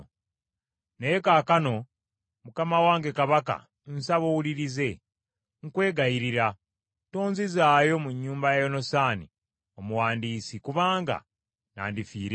Naye kaakano mukama wange kabaka nsaba owulirize, nkwegayirira, tonzizaayo mu nnyumba ya Yonasaani omuwandiisi, kuba nandifiira eyo.’ ”